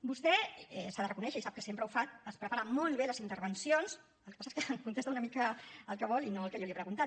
vostè s’ha de reconèixer i sap que sempre ho fa es prepara molt bé les intervencions el que passa és que contesta una mica el que vol i no al que jo li he preguntat